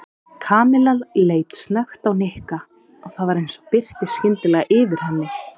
Kamilla leit snöggt á Nikka og það var eins og birti skyndilega yfir henni.